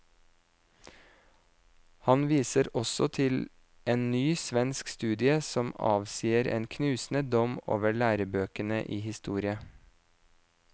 Han viser også til en ny svensk studie som avsier en knusende dom over lærebøkene i historie.